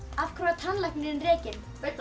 af hverju var tannlæknirinn rekinn